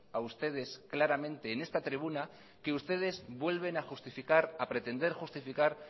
a ustedes claramente en esta tribuna que ustedes vuelven a pretender justificar